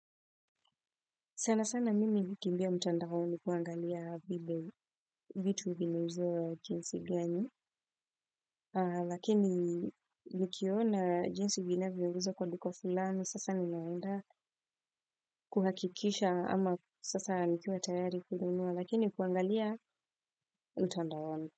Sana sana mimi nakimbia mtandaoni kuangalia vile vitu vinihuzio jinsi gani. Lakini likiona jinsi vinazo kwa duko fulani sasa ninaunda kuhakikisha ama sasa nikiwa tayari kulunua lakini kuangalia mtandaoni.